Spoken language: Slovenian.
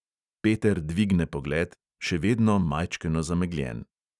Peter dvigne pogled, še vedno majčkeno zamegljen.